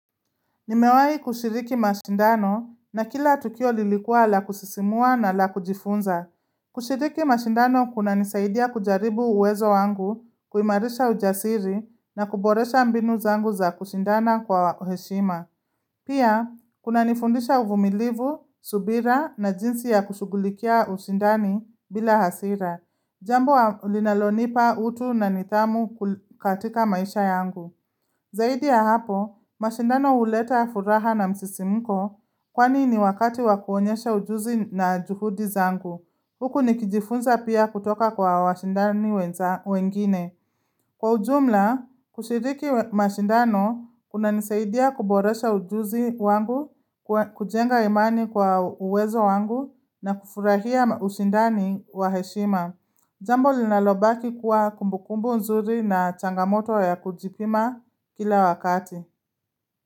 Nimewahi kushiriki mashindano na kila tukio lilikuwa la kusisimua na la kujifunza. Kushiriki mashindano kunanisaidia kujaribu uwezo wangu, kuimarisha ujasiri, na kuboresha mbinu zangu za kushindana kwa heshima. Pia, kuna nifundisha uvumilivu, subira na jinsi ya kushugulikia usindani bila hasira. Jambo linalonipa utu na nidhamu katika maisha yangu. Zaidi ya hapo, mashindano huleta furaha na msisimko kwani ni wakati wa kuonyesha ujuzi na juhudi zangu. Huku nikijifunza pia kutoka kwa washindani wengine. Kwa ujumla, kushiriki mashindano, kunanisaidia kuboresha ujuzi wangu, kujenga imani kwa uwezo wangu, na kufurahia ushindani wa heshima. Jambo linalobaki kuwa kumbukumbu nzuri na changamoto ya kujipima kila wakati.